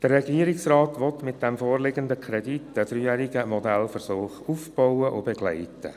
Der Regierungsrat will mit dem vorliegenden Kredit einen dreijährigen Modellversuch aufbauen und begleiten.